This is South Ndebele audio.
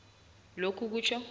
lokhu kutjho